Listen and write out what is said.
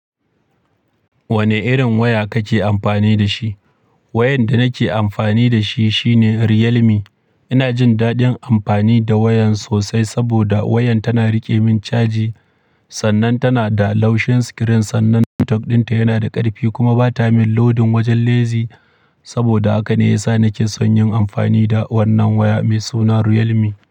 Wane irin waya kake amfani da shi? Wayan da nake amfani da shi shine Realme. Ina jin dadin amfani da wayan sosai saboda wayan tana rike min caji, sannan tana da laushin screen, sannan network ɗinta yana da ƙarfi kuma bata min loading wajen lazy. Saboda haka ne ya sa nake son yin amfani da wannan waya mai suna Realme.